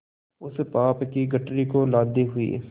उस पाप की गठरी को लादे हुए